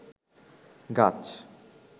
গাছ